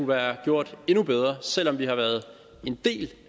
været gjort endnu bedre selv om vi har været en del